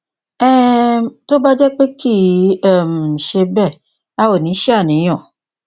um tó bá jẹ pé kìí um ṣe bẹẹ a ò ní ṣàníyàn